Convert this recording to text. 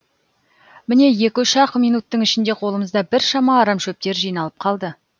міне екі үш ақ минуттың ішінде қолымызда біршама арам шөптер жиналып қалды